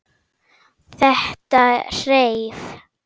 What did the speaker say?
Þetta hreif.